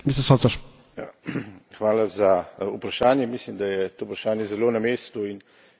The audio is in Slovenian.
Mislim, da je to vprašanje zelo na mestu in nekaj odgovorov smo slišali tudi v današnji razpravah.